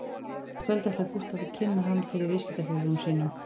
Í kvöld ætlar Gústaf að kynna hann fyrir viðskiptafélögum sínum